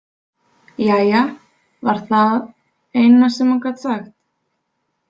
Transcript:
Jæja, var það eina sem hún gat sagt.